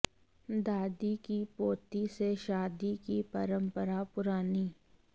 दादी की पोते से शादी की परंपरा पुरानी